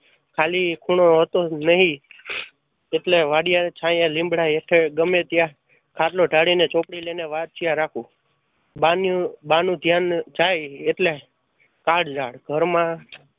ખાલી ખોણો હતો નહિ. એટલે વાડીયે લીંબડા હેઠે છાંયે ગમે ત્યાં ખાટલો ઢાળી ને ચોપડી લય ને વાંચ્યા રાખું. બાન્યુ બા નું ધ્યાન જાય એટલે કાળઝાળ ઘરમાં